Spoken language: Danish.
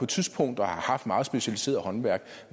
tidspunkt har haft meget specialiserede håndværk